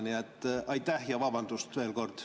Nii et aitäh ja veel kord vabandust!